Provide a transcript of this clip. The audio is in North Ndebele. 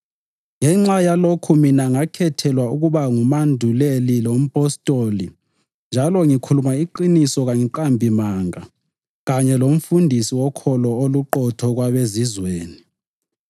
Ngenxa yalokhu mina ngakhethelwa ukuba ngumanduleli lompostoli njalo ngikhuluma iqiniso kangiqambi manga kanye lomfundisi wokholo oluqotho kwabeZizweni.